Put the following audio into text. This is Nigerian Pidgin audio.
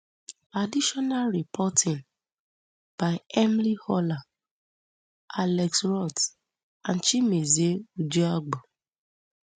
additional reporting by emily horler alex rhodes and chimezie ucheagbo